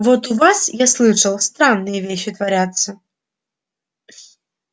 вот у вас я слышал странные вещи творятся